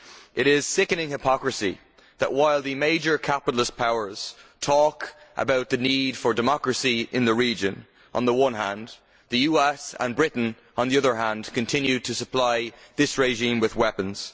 It is sickening hypocrisy that while the major capitalist powers talk about the need for democracy in the region on the one hand, the US and Britain, on the other hand, continue to supply this regime with weapons.